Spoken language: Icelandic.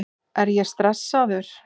Er ég stressaður?